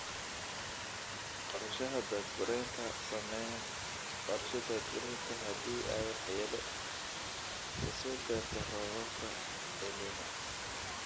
Qorshaha daad-gureynta Samee qorshe daad-gureynta haddii ay waxyeello ka soo gaarto roobabka El Niño.